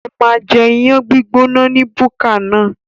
Ó máa jẹ iyán gbígbóná ní búkà náà.